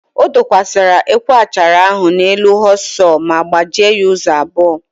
O dokwasara ekwe achara ahụ n'elu họọs sọọ ma gbujie ya ụzọ abụọ.